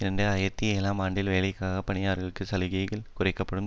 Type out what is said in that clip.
இரண்டு ஆயிரத்தி ஏழாம் ஆண்டில் வேலைக்காக பயணிப்பவர்களுக்கான சலுகைகள் குறைக்க படும்